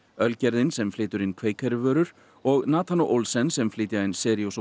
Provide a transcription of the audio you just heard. ölgerðin sem flytur inn vörur og Nathan og Olsen sem flytja inn Cheerios og